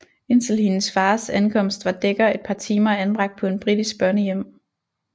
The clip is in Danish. Indtil hendes fars ankomst var Dekker et par timer anbragt på en britisk børnehjem